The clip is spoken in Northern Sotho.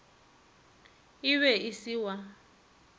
e be e se wa